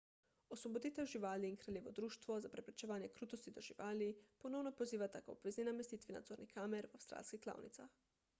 osvoboditev živali in kraljevo društvo za preprečevanje krutosti do živali rspca ponovno pozivata k obvezni namestitvi nadzornih kamer v avstralskih klavnicah